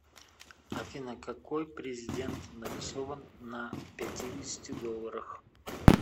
афина какой президент нарисован на пятидесяти долларах